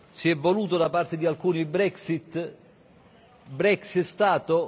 Si è voluto da parte di alcuni Brexit, Brexit è stato?